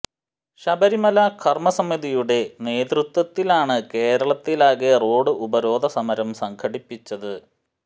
ശബരിമല കര്മ സമിതിയുടെ നേതൃത്വത്തിലാണ് കേരളത്തിലാകെ റോഡ് ഉപരോധ സമരം സംഘടിപ്പിച്ചത്